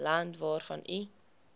land waarvan u